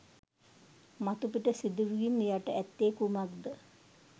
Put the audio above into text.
මතුපිට සිදුවීම් යට ඇත්තේ කුමක් ද?